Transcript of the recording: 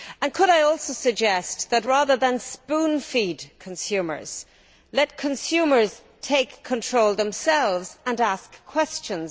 Could I also suggest that, rather than spoon feed consumers, we let consumers take control themselves and ask questions.